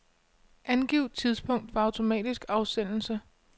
Angiv tidspunkt for automatisk afsendelse.